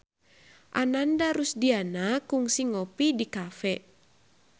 Ananda Rusdiana kungsi ngopi di cafe